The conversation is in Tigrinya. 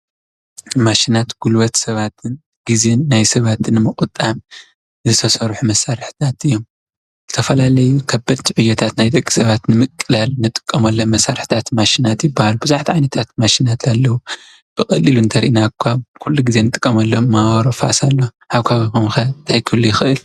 ማሽናት ጉልበት ሰባትን ግዜን ናይ ሰባትን ዉን ብምቁጣብ ዝተሰርሑ መሳርሕታት እዮም። ዝተፈላለዩ ከበድቲ ዕዮታት ናይ ደቂ ሰባት ንምቅላል ንጥቀመሎም መሳርሕታት ማሽናት ይብሃሉ። ቡዙሓት ዓይነታት ማሽናት ኣለዉ ።ብቀሊሉ እንተሪእናካ ኩሉ ግዜ ንጥቀመሎም ፋብሪካ ሳሙና። ኣብ ከባቢኩም ከ እንታይ ክህሉ ይክእል?